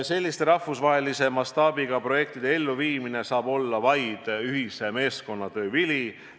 " Selliste rahvusvahelise mastaabiga projektide elluviimine saab olla vaid ühise meeskonnatöö vili.